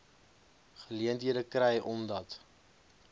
geleenthede kry omdat